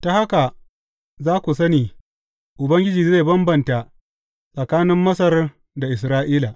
Ta haka za ku sani Ubangiji zai bambanta tsakanin Masar da Isra’ila.